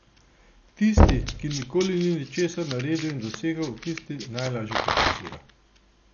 Tisti, ki nikoli ni ničesar naredil in dosegel, tisti najlažje kritizira.